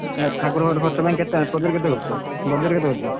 ଠାକୁର ଖର୍ଚ୍ଚ ପାଇଁ କେତେ କରିଚ? budget କେତେ କରିଛ?